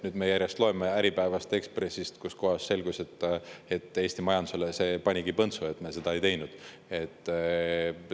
Nüüd me järjest loeme Äripäevast ja Ekspressist, et Eesti majandusele see panigi põntsu, et me seda ei teinud.